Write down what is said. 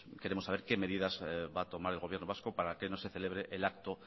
queremos saber qué medidas va a tomar el gobierno vasco para que no se celebre el acto